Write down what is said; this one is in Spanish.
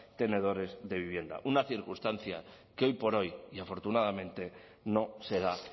tenedores de vivienda una circunstancia que hoy por hoy y afortunadamente no se da